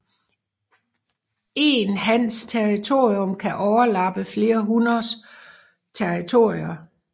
En hans territorium kan overlappe flere hunners territorier